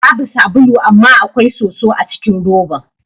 Babu sabulu amma akwai soso acikin roban.